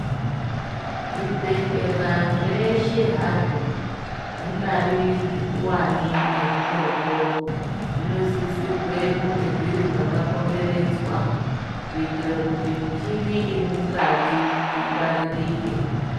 Zvibhehlera zveshe hazvo, zvingari zvikuwane ngezvidoko, zvinosisirwa kunge zviri mwakakomberedzwa. Kuitira kuti michini iri mukati ingwaririke.